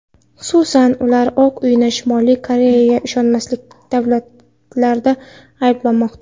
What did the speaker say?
Xususan, ular Oq uyni Shimoliy Koreyaga ishonmaslikka da’vatlarda ayblamoqda.